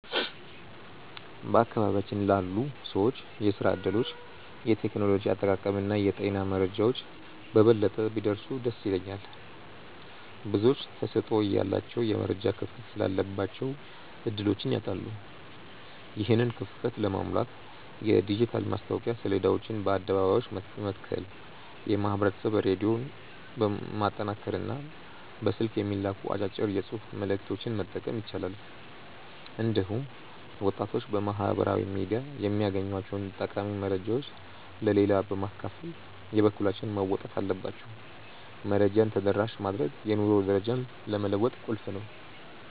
በአካባቢያችን ላሉ ሰዎች የሥራ ዕድሎች፣ የቴክኖሎጂ አጠቃቀምና የጤና መረጃዎች በበለጠ ቢደርሱ ደስ ይለኛል። ብዙዎች ተሰጥኦ እያላቸው የመረጃ ክፍተት ስላለባቸው ዕድሎችን ያጣሉ። ይህንን ክፍተት ለመሙላት የዲጂታል ማስታወቂያ ሰሌዳዎችን በአደባባዮች መትከል፣ የማኅበረሰብ ሬዲዮን ማጠናከርና በስልክ የሚላኩ አጫጭር የጽሑፍ መልዕክቶችን መጠቀም ይቻላል። እንዲሁም ወጣቶች በማኅበራዊ ሚዲያ የሚያገኟቸውን ጠቃሚ መረጃዎች ለሌላው በማካፈል የበኩላቸውን መወጣት አለባቸው። መረጃን ተደራሽ ማድረግ የኑሮ ደረጃን ለመለወጥ ቁልፍ ነው።